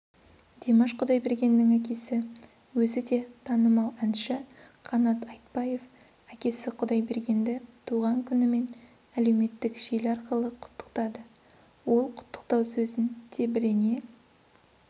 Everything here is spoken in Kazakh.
димаш құдайбергеннің әкесі өзі де танымал әнші қанат айтбаев әкесі құдайбергенді туған күнімен әлеуметтік желі арқылы құттықтады ол құттықтау сөзін тебірене